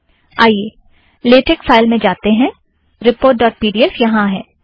आइए LaTeX file में जातें हैं report dot P D F यहाँ है